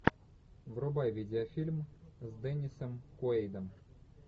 врубай видеофильм с деннисом куэйдом